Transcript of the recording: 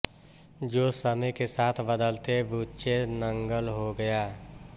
जो समय के साथ बदलते बुचे नंगल हो गया